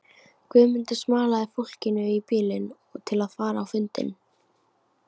Guðmundur smalaði fólki í bílinn til að fara á fundinn.